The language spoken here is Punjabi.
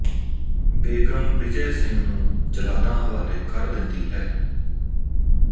ਬੇਗਮ ਬਿਜੈ ਸਿੰਘ ਨੂੰ ਜਲਾਦਾਂ ਹਵਾਲੇ ਕਰ ਦਿੰਦੀ ਹੈ